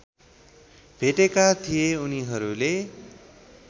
भेटेका थिए उनीहरूले